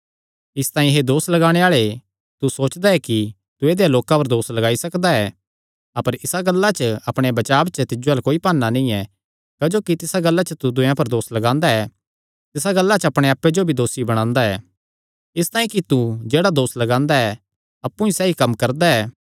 इसतांई हे दोस लगाणे आल़े तू सोचदा ऐ कि तू ऐदेय लोकां पर दोस लगाई सकदा ऐ अपर इसा गल्ला च अपणे बचाब च तिज्जो अल्ल कोई भाना नीं ऐ क्जोकि जिसा गल्ला च तू दूयेयां पर दोस लगांदा ऐ तिसा गल्ला च अपणे आप्पे जो भी दोसी बणांदा ऐ इसतांई कि तू जेह्ड़ा दोस लगांदा ऐ अप्पु ई सैई कम्म करदा ऐ